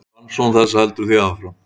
Rannsókn þess heldur því áfram.